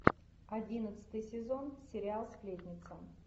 одиннадцатый сезон сериал сплетница